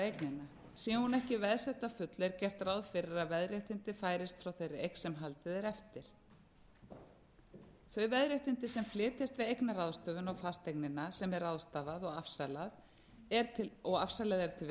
sé hún ekki veðsett að fullu er gert ráð fyrir að veðréttindin færist frá þeirri eign sem haldið er eftir þau veðréttindin sem flytjast við eignaráðstöfun á fasteignina sem er ráðstafað og afsalað til